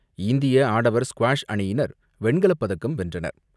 இந்திய ஆடவர் ஸ்குவாஷ் அணியினர் வெண்கலப் பதக்கம் வென்றனர்.